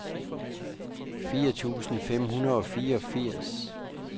firs tusind fem hundrede og fireogfirs